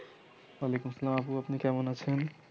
য়াআলাইকুম আসসালাম আপু আপনি কেমন আছেন?